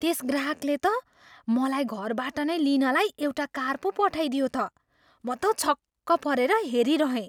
त्यस ग्राहकले त मलाई घरबाट नै लिनलाई एउटा कार पो पठाइदियो त। म त छक्क परेर हेरिरहेँ।